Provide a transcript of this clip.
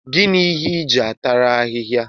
Gịnị ịhe iji atara ahịhịa?